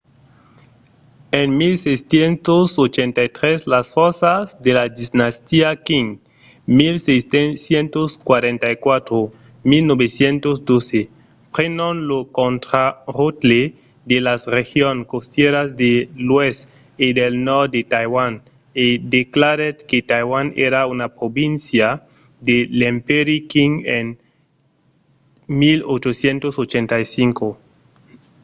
en 1683 las fòrças de la dinastia qing 1644-1912 prenon lo contraròtle de las regions costièras de l'oèst e del nòrd de taiwan e declarèt que taiwan èra una província de l'empèri qing en 1885